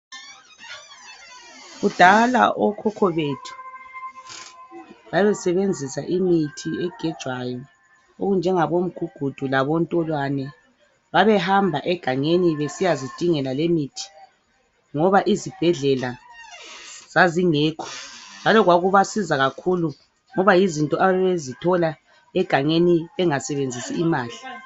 Kudala okhokho bethu babesebenzisa imithi egejwayo okunjengabo mgugudu labo ntolwane, babehamba egangeni besiyazidingela lemithi ngoba izibhedlela zazingekho njalo kwakubasiza kakhulu ngoba yizinto ababezithola egangeni bengasebenzisi imali.